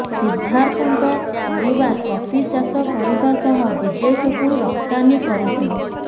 ସିଦ୍ଧାର୍ଥଙ୍କ ପରିବାର କଫି ଚାଷ କରିବା ସହ ବିଦେଶକୁ ରପ୍ତାନୀ କରୁଥିଲେ